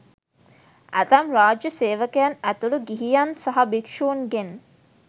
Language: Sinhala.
ඇතැම් රාජ්‍ය සේවකයන් ඇතුළු ගිහියන් සහ භික්ෂුන්ගෙන්